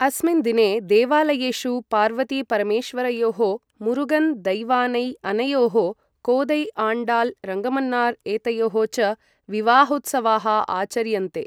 अस्मिन् दिने देवालयेषु पार्वती परमेश्वरयोः, मुरुगन् दैवानै अनयोः, कोदै आण्डाल् रङ्गमन्नार् एतयोः च विवाहोत्सवाः आचर्यन्ते।